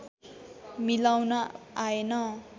मिलाउन आएन